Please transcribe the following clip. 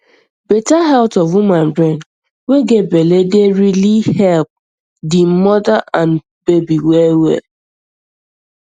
better health of woman brain way get belle dey rili help di mother and baby well well